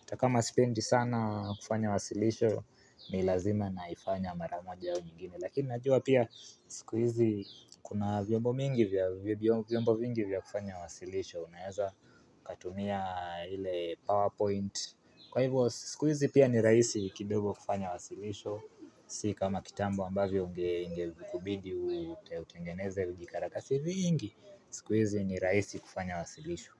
hata kama sipendi sana kufanya wasilisho ni lazima naifanya mara moja au nyingine. Lakini najua pia siku hizi kuna vyombo mingi vya vya vyombo vingi vya kufanya wasilisho. Unaeza ukatumia ile aaa powerpoint kwa hivyo s sikuizi pia ni rahisi kidogo kufanya wasilisho s Si kama kitambo ambavyo unge inge kubidi utengeneze vi karakasi vingi. Sikuizi ni rahisi kufanya wasilisho.